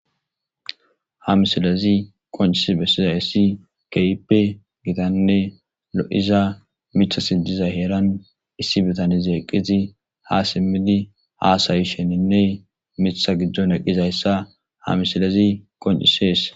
Ha misilezi qoncisi besizaysi kehippe gitane lo'iza mithati diza heeran issi bitanezi eqidi ha simidi hasayishene mitha gidon eqidaysa ha misiley qoncises